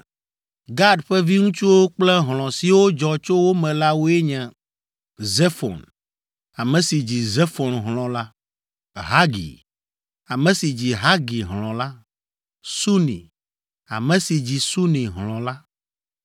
Gad ƒe viŋutsuwo kple hlɔ̃ siwo dzɔ tso wo me la woe nye: Zefon, ame si dzi Zefon hlɔ̃ la, Hagi, ame si dzi Hagi hlɔ̃ la, Suni, ame si dzi Suni hlɔ̃ la,